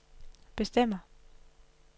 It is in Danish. bestemmer